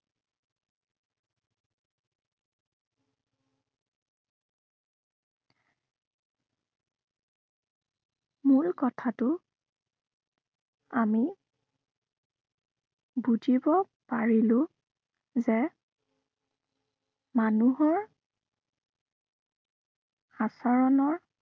মূল কথাটো আমি বুজিব পাৰিলো, যে মানুহৰ আচৰণৰ